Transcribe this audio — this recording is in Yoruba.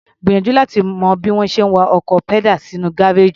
Gbìyànjú láti mọ bí wọ́n ṣe ń wa ọkọ̀ padal sínú gáréèjì.